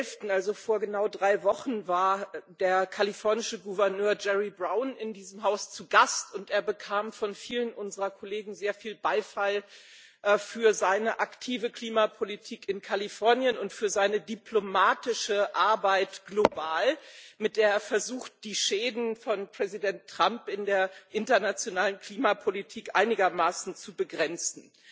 8. November, also vor genau drei Wochen, war der kalifornische Gouverneur Jerry Brown in diesem Haus zu Gast, und er bekam von vielen unserer Kollegen sehr viel Beifall für seine aktive Klimapolitik in Kalifornien und für seine diplomatische Arbeit global, mit der er versucht, die Schäden von Präsident Trump in der internationalen Klimapolitik einigermaßen zu begrenzen.